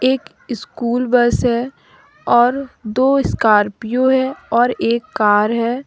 एक school bus है और दो स्कार्पियो है और एक कार है।